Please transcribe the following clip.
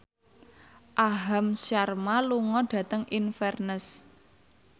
Aham Sharma lunga dhateng Inverness